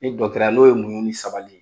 Ni ya, n'o ye muɲu ni sabali ye.